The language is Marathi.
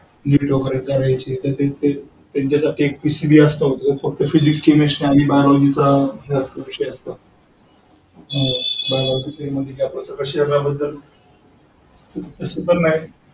NEET वगैरे कराची ये त्यांच्यासाठी एक PCB असतो optionphysicschemistrybiology चा विषय असतो. biology म्हणजे शरीराबद्दल तस पण नाही.